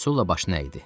Sulla başını əydi.